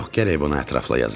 Yox, gərək bunu ətrafla yazam.